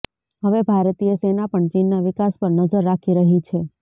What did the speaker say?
હવે ભારતીય સેના પણ ચીનના વિકાસ પર નજર રાખી રહી છે